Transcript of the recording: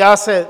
Já se